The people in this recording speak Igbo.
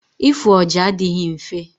Ịfụ ọja adịghị mfe.